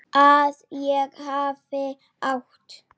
Að ég hafi átt.?